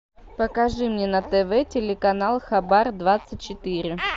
покажи мне на тв телеканал хабар двадцать четыре